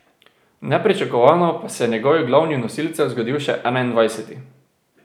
Nepričakovano pa se je njegovim glavnim nosilcem zgodil še enaindvajseti.